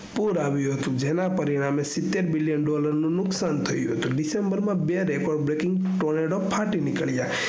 પુર આવીયુ હતું જેના પરિણામે સીતેર million dollar નુકશાન થયું હતું december માં બે record breaking tornado ફાટી નીકેલા